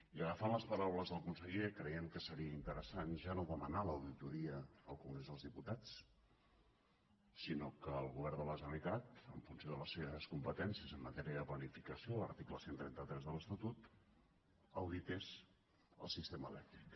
i agafant les paraules del conseller creiem que seria interessant ja no demanar l’auditoria al congrés dels diputats sinó que el govern de la generalitat en funció de les seves competències en matèria de planificació article cent i trenta tres de l’estatut audités el sistema elèctric